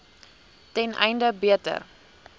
ten einde beter